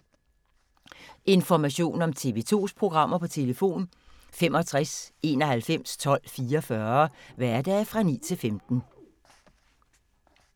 Information om TV 2's programmer: 65 91 12 44, hverdage 9-15.